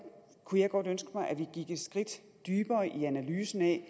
kunne jeg godt ønske mig at vi gik et skridt dybere i analysen af